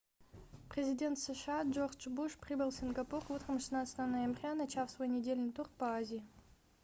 президент сша джордж буш прибыл в сингапур утром 16 ноября начав свой недельный тур по азии